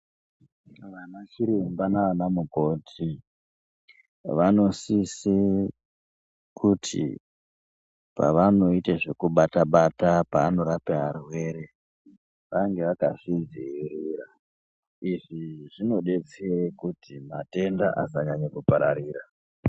Vanachiremba naanamukoti vanosise kuti pavanoite zvekubata bata paanorapa varwere vange vakazvidzivirira izvi zvinodetsere kuti matenda asanyanya kupararira.